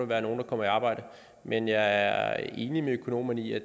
være nogle der kommer i arbejde men jeg er enig med økonomerne i at